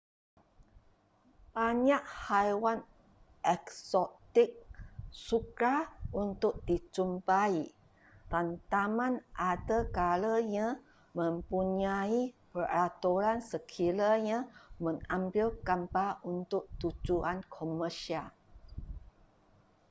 banyak haiwan eksotik sukar untuk dijumpai dan taman ada kalanya mempunyai peraturan sekiranya mengambil gambar untuk tujuan komersial